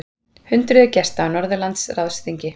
Hundruðir gesta á Norðurlandaráðsþingi